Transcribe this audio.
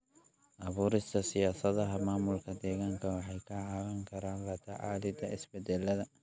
Abuurista siyaasadaha maamulka deegaanka waxay ka caawin karaan la tacaalida isbeddelada.